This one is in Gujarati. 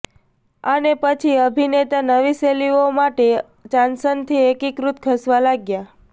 અને પછી અભિનેતા નવી શૈલીઓમાં માટે ચાંસન થી એકીકૃત ખસવા લાગ્યા